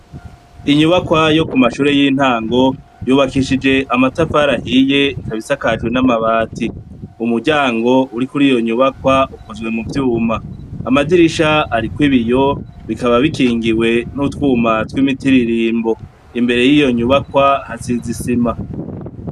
Inyubakwa yo Ku mashure yintango, yubakishije amatafari ahiye, ikaba isakajwe n' amabati. Umuryango uri kuriyo nyubakwa yakoze mu vyuma. Amadirisha ariko ibiyo, bikaba bikingiwe n' utwumba tw' imitiririmbo. Imbere yiyo nyubakwa, hasize isima.